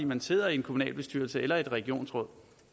man sidder i en kommunalbestyrelse eller et regionsråd